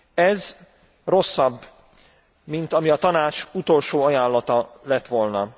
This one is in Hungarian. Ez rosszabb, mint ami a Tanács utolsó ajánlata lett volna.